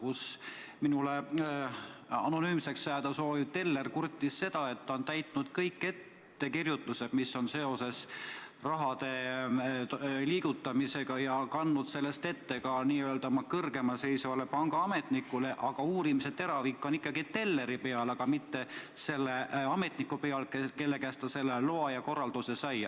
Üks minule anonüümseks jääda soovinud teller kurtis, et ta on täitnud kõik ettekirjutused, mis on seotud raha liigutamisega, ja kandnud sellest ette ka oma n-ö kõrgemal seisvale pangaametnikule, aga uurimise teravik on ikkagi telleri peal, mitte selle ametniku peal, kelle käest ta teatud loa ja korralduse sai.